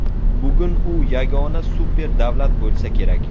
Bugun u yagona super davlat bo‘lsa kerak.